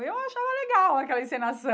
E eu achava legal aquela encenação.